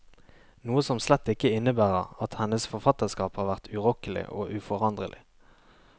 Noe som slett ikke innebærer at hennes forfatterskap har vært urokkelig og uforanderlig.